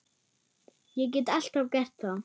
Ég get alltaf gert það.